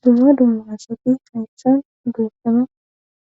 dumma dumma assati ayshan doopfama